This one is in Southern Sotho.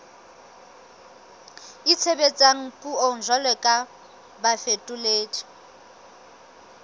itshebetsang puong jwalo ka bafetoledi